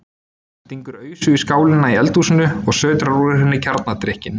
Stingur ausu í skálina í eldhúsinu og sötrar úr henni kjarnadrykkinn.